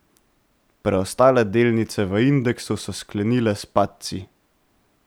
Preostale delnice v indeksu so sklenile s padci.